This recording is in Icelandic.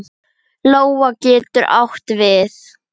Lóa getur átt við